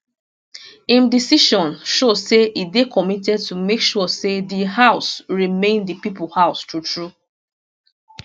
im decision show say e dey committed to make sure say di house remain di pipo house true true